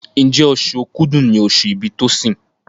Njé Oṣù Òkúdu ní oṣù ibì Tosin?